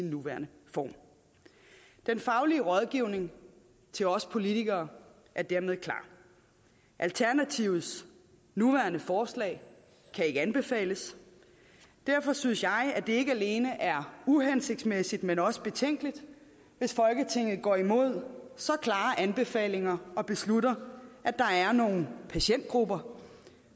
nuværende form den faglige rådgivning til os politikere er dermed klar alternativets nuværende forslag kan ikke anbefales derfor synes jeg at det ikke alene er uhensigtsmæssigt men også betænkeligt hvis folketinget går imod så klare anbefalinger og beslutter at der er nogle patientgrupper